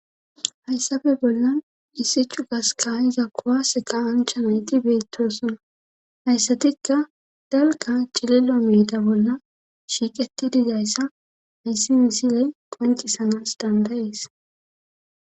hayssape bollan ise chugas kayiza kowase ka'iza nayti beettosona hayssatikka dalka cililo miida bolla shiiqetti dizayssa hiyssi misiley qoncisanas dandayees